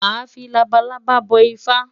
Màá fi labalábá bọ Ifá.